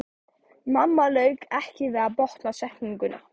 Mamma lauk ekki við að botna setninguna.